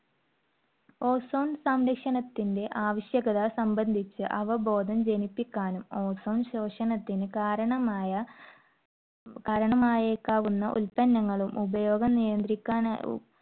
ozone സംരക്ഷണത്തിന്റെ ആവശ്യകത സംബന്ധിച്ച് അവബോധം ജനിപ്പിക്കാനും, ozone ശോഷണത്തിന് കാരണമായ ~ കാരണമായേക്കാവുന്ന ഉല്പന്നങ്ങളും ഉപയോഗം നിയന്ത്രിക്കാനാ~